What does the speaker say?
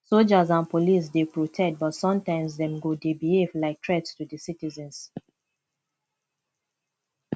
soldiers and police dey protect but sometimes dem go dey behave like threats to di citizens